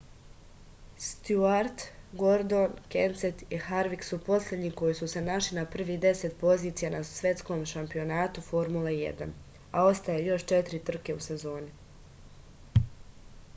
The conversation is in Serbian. stjuart gordon kenset i harvik su poslednji koji su se našli na prvih deset pozicija na svetskom šampionatu formule 1 a ostaje još četiri trke u sezoni